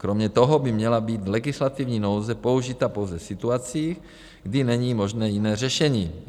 Kromě toho by měla být legislativní nouze použita pouze v situacích, kdy není možné jiné řešení.